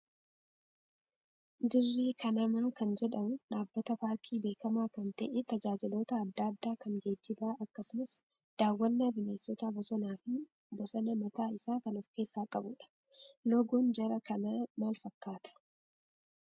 Dirree kanamaa kan jedhamu dhaabbata paarkii beekamaa kan ta'ee tajaajiloota adda addaa kan geejjibaa, akkasumas daawwannaa bineensota bosonaa fi bosonaa mataa isaa kan of keessaa qabudha. Loogoon Jara kanaa maal fakkaataa?